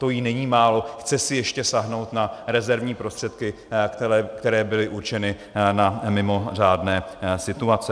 To jí je málo, chce si ještě sáhnout na rezervní prostředky, které byly určeny na mimořádné situace.